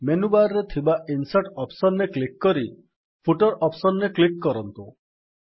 menu bar ରେ ଥିବା insert option ରେ କ୍ଲିକ୍ କରି ଫୁଟର ଅପ୍ସନ୍ ରେ କ୍ଲିକ୍ କରନ୍ତୁ